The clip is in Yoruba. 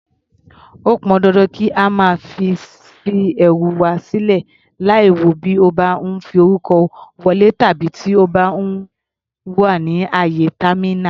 Ó pọn dandan kí a má ṣe fi ẹrù wà sílè láìwò bí a bá ń forúkọ wọlé tàbí tí a bá wà ní àyè támínà.